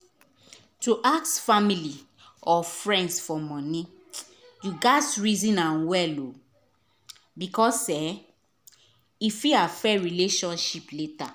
to ask family or friends for money you gats reason am well um because e fit affect relationship later.